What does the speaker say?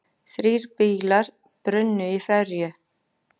Þrír bílar brunnu í ferju